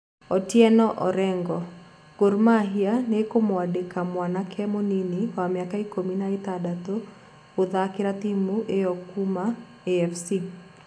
Otieno Orengo:Gor Mahia nĩkũmũandĩka mwanake mũnini wa mĩaka ikũmi na ĩtandatu gũthakĩra timũ ĩo kuuma AFC.